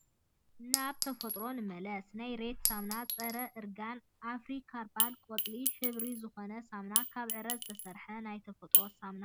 ናበ ተፈጥሮ ንመለስ ናይ ሬት ሳሙና ፀረ እርጋን አፍሪ ከርባል ቆፃል ሕብሪ ዝኮነ ሳሙና ካብ ዕረ ዝተሰረሐ ናይ ተፈጥሮ ሳሙና እዩ።